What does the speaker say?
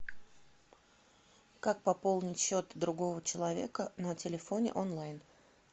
как пополнить счет другого человека на телефоне онлайн